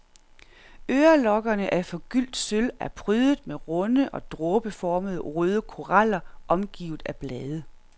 Ørelokkerne af forgyldt sølv er prydet med runde og dråbeformede røde koraller omgivet af blade.